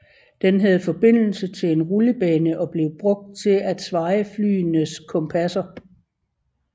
Den havde forbindelse til en rullebane og blev brugt til at svaje flyenes kompasser